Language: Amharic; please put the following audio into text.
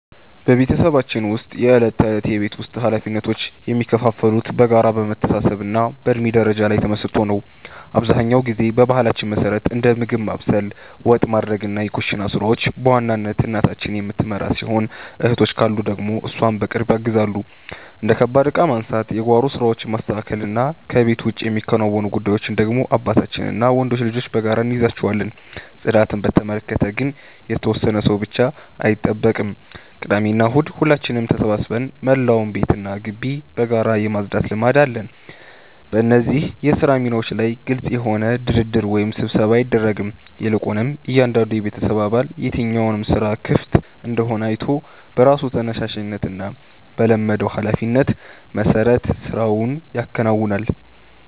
በቤተሰባችን ውስጥ የዕለት ተዕለት የቤት ውስጥ ኃላፊነቶች የሚከፋፈሉት በጋራ መተሳሰብና በእድሜ ደረጃ ላይ ተመስርቶ ነው። አብዛኛውን ጊዜ በባህላችን መሠረት እንደ ምግብ ማብሰል፣ ወጥ ማውረድና የኩሽና ሥራዎችን በዋናነት እናታችን የምትመራው ሲሆን፣ እህቶች ካሉ ደግሞ እሷን በቅርብ ያግዛሉ። እንደ ከባድ ዕቃ ማንሳት፣ የጓሮ ሥራዎችን ማስተካከልና ከቤት ውጭ የሚከናወኑ ጉዳዮችን ደግሞ አባታችንና ወንዶች ልጆች በጋራ እንይዛቸዋለን። ጽዳትን በተመለከተ ግን የተወሰነ ሰው ብቻ አይጠብቅም፤ ቅዳሜና እሁድ ሁላችንም ተሰባስበን መላውን ቤትና ግቢ በጋራ የማጽዳት ልማድ አለን። በእነዚህ የሥራ ሚናዎች ላይ ግልጽ የሆነ ድርድር ወይም ስብሰባ አይደረግም፤ ይልቁንም እያንዳንዱ የቤተሰብ አባል የትኛው ሥራ ክፍት እንደሆነ አይቶ በራሱ ተነሳሽነትና በለመደው ኃላፊነት መሠረት ሥራውን ያከናውናል።